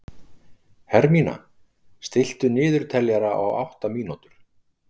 Hermína, stilltu niðurteljara á átta mínútur.